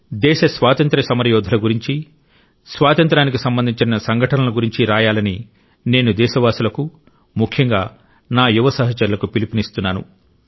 దేశ స్వాతంత్య్ర సమరయోధుల గురించి స్వాతంత్ర్యానికి సంబంధించిన సంఘటనల గురించి రాయాలని నేను దేశవాసులకు ముఖ్యంగా నా యువ సహచరులకు పిలుపునిస్తున్నాను